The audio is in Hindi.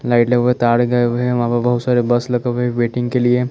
लाइट लगे हुए हैं तार लगे हुए हैं वा वहा पे बहुत सारे बस लगे हुए हैं वेटिंग के लिए--